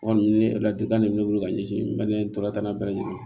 Ɔ ni ne ladilikan de bɛ ne bolo ka ɲɛsin n bɛ ne tɔgɔlaka bɛɛ lajɛlen